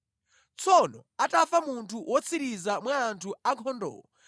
Tsono atafa munthu wotsiriza mwa anthu ankhondowo,